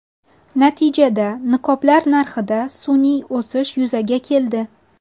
Natijada niqoblar narxida sun’iy o‘sish yuzaga keldi.